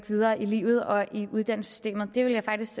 videre i livet og i uddannelsessystemet jeg ville faktisk